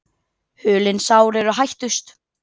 Hulin sár eru hættust.